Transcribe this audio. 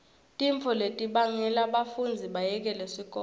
tintfo letibangela bafundzi bayekele sikolo